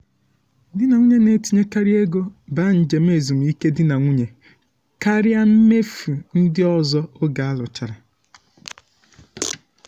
di na nwunye na-etinyekarị ego ba njem ezumike di na nwunye karịa mmefu ndị ọzọ oge alụchara.